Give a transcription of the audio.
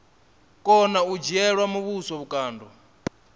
kona u dzhiela muvhuso vhukando